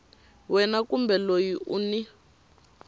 wena kumbe loyi u n